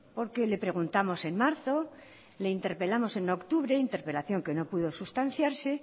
porque le preguntamos en marzo le interpelamos en octubre interpelación que no pudo sustanciarse